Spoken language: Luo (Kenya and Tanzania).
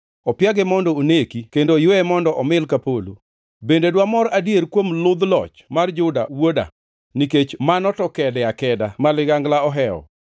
opiage mondo oneki kendo oyweye mondo omil ka polo! “ ‘Bende dwamor adier kuom ludh loch mar Juda wuoda? Nikech mano to kede akeda ma ligangla ohewo.